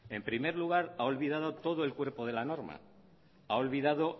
en primer lugar ha olvidado todo el cuerpo de la norma ha olvidado